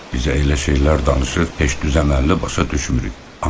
Bizə elə şeylər danışır ki, düz əlli başa düşmürük.